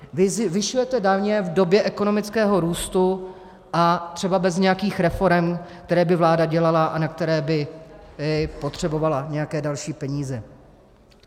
Vy zvyšujete daně v době ekonomického růstu a třeba bez nějakých reforem, které by vláda dělala a na které by potřebovala nějaké další peníze.